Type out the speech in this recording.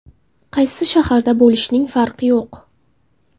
Qaysi shaharda bo‘lishning farqi yo‘q.